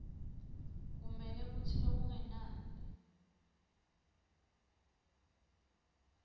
kumele kutsi lokungenani